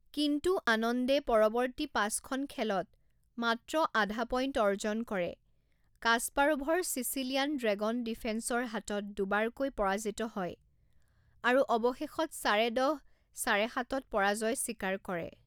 কিন্তু আনন্দে পৰৱৰ্তী পাঁচখন খেলত মাত্ৰ আধা পইণ্ট অৰ্জন কৰে কাস্পাৰোভৰ চিচিলিয়ান ড্ৰেগন ডিফেন্সৰ হাতত দুবাৰকৈ পৰাজিত হয় আৰু অৱশেষত চাৰে দহ চাৰে সাতত পৰাজয় স্বীকাৰ কৰে।